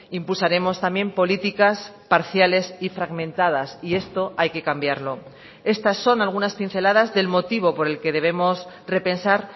impulsaremos también políticas parciales y fragmentadas y esto hay que cambiarlo estas son algunas pinceladas del motivo por el que debemos repensar